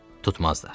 Tutmazlar.